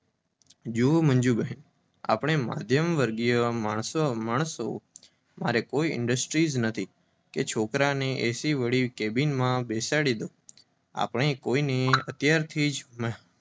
જુઓ મંજુબહેન, આપણે મધ્યમ વર્ગનાં માણસ. તમારી મારી કોઈ ઇન્ડસ્ટ્રી નથી કે છોકરાને એસીવાળી કૅબિનમાં બેસાડી દો. આપણે કોઈને અત્યારથી જ